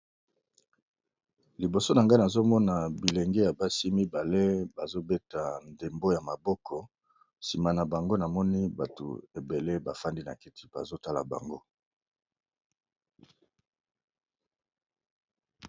Liboso na ngai nazomona bilenge ya basi mibale bazobeta ndembo ya maboko nsima na bango namoni bato ebele bafandi na kiti bazotala bango.